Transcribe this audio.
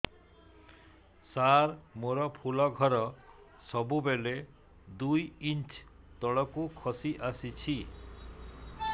ସାର ମୋର ଫୁଲ ଘର ସବୁ ବେଳେ ଦୁଇ ଇଞ୍ଚ ତଳକୁ ଖସି ଆସିଛି